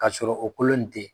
K'a sɔrɔ o kolon ni te ye